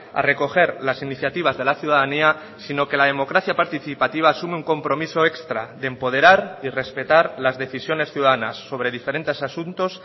a recoger las iniciativas de la ciudadanía sino que la democracia participativa asume un compromiso extra de empoderar y respetar las decisiones ciudadanas sobre diferentes asuntos